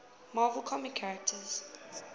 marvel comics characters